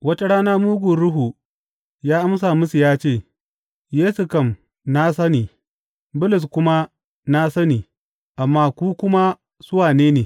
Wata rana mugun ruhu ya amsa musu ya ce, Yesu kam na sani, Bulus kuma na sani, amma ku kuma su wane ne?